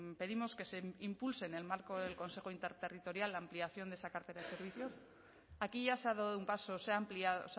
pedimos que se impulse en el marco del consejo interterritorial la ampliación de esa cartera de servicios aquí ya se ha dado un paso se ha ampliado o